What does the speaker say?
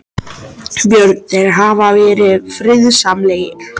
Björn: Þeir hafa verið friðsamlegir?